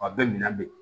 A bɛ minɛ de